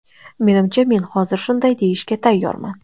Menimcha men hozir shunday deyishga tayyorman.